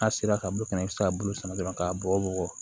N'a sera ka bɔ kɛnɛ bɛ se ka bulu sɛnɛ dɔrɔn k'a bɔ bɔ bugɔ